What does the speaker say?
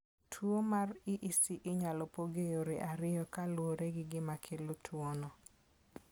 Tuwo mar EEC inyalo pog e yore ariyo kaluwore gi gima kelo tuwono.